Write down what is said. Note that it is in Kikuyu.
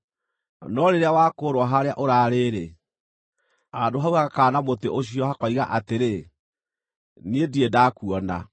No rĩrĩa wakũũrwo harĩa ũraarĩ-rĩ, handũ hau hagakaana mũtĩ ũcio, hakoiga atĩrĩ, ‘Niĩ ndirĩ ndakuona.’